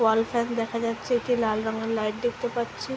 ওয়াল tab দেখা যাচ্ছে একটি লাল রং এর লাইট দেখতে পাচ্ছি ।